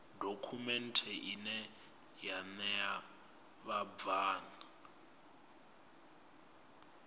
dokhumenthe ine ya ṋea vhabvann